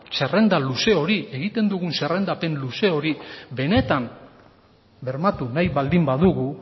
zerrenda luze hori egiten dugun zerrendapen luze hori benetan bermatu nahi baldin badugu